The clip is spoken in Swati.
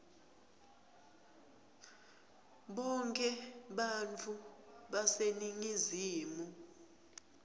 bonkhe bantfu baseningizimu